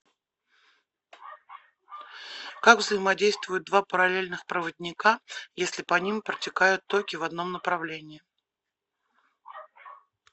как взаимодействуют два параллельных проводника если по ним протекают токи в одном направлении